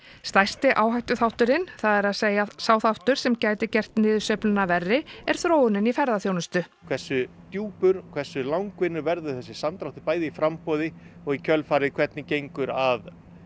stærsti áhættuþátturinn það er að segja sá þáttur sem gæti gert niðursveifluna verri er þróunin í ferðaþjónustu hversu djúpur hversu langvinnur verður þessi samdráttur bæði í framboði og í kjölfarið hvernig gengur að